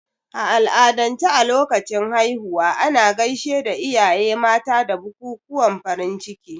A al'adance a lokacin haihuwa, ana gaishe da iyaye mata da bukukuwan farin ciki.